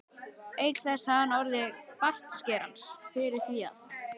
Auk þess hafði hann orð bartskerans fyrir því að